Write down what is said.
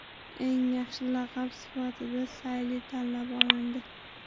Eng yaxshi laqab sifatida Sayli tanlab olindi.